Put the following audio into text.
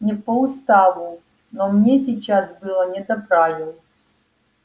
не по уставу но мне сейчас было не до правил